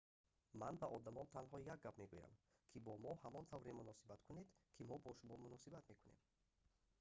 ман ба одамон танҳо як гап мегӯям ки бо мо ҳамон тавре муносибат кунед ки мо бо шумо муносибат мекунем